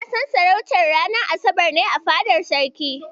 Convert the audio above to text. Naɗin sarautar ranar asabar ne a fadar Sarki.